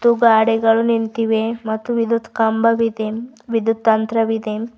ಮತ್ತು ಗಾಡಿಗಳು ನಿಂತಿವೆ ಮತ್ತು ವಿದ್ಯುತ್ ಕಂಬವಿದೆ ವಿದ್ಯುತ್ ತಂತ್ರವಿದೆ.